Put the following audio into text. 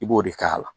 I b'o de k'a la